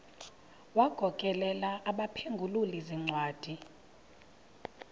wagokelela abaphengululi zincwadi